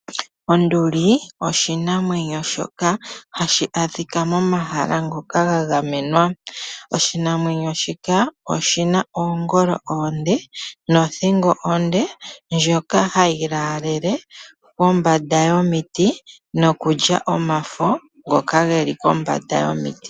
Onduli oshinamwenyo shoka hashi adhika momahala ngoka ga gamwena. Oshina oongolo oonde nothingo onde ndjono hayi laalele nokulya omafo ngoka geli pombanda yomit.